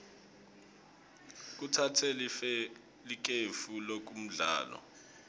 batsatse likefu kulomdlalo